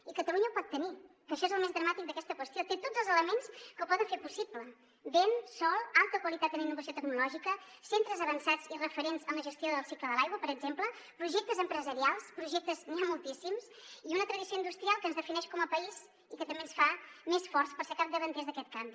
i catalunya ho pot tenir que això és el més dramàtic d’aquesta qüestió té tots els elements que ho poden fer possible vent sol alta qualitat en innovació tecnològica centres avançats i referents en la gestió del cicle de l’aigua per exemple projectes empresarials de projectes n’hi ha moltíssims i una tradició industrial que ens defineix com a país i que també ens fa més forts per ser capdavanters d’aquest canvi